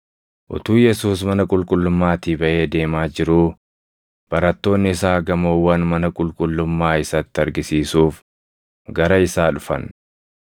Utuu Yesuus mana qulqullummaatii baʼee deemaa jiruu barattoonni isaa gamoowwan mana qulqullummaa isatti argisiisuuf gara isaa dhufan.